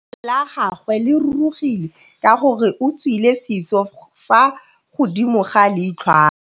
Leitlhô la gagwe le rurugile ka gore o tswile sisô fa godimo ga leitlhwana.